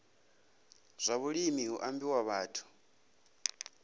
zwa vhulimi hu ambiwa vhathu